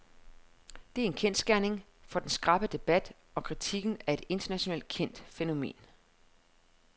Det er en kendsgerning, for den skarpe debat og kritikken er et internationalt kendt fænomen.